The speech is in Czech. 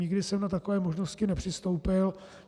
Nikdy jsem na takové možnosti nepřistoupil.